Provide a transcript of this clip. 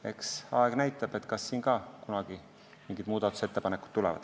Eks aeg näitab, kas siin ka kunagi mingid muudatusettepanekud tulevad.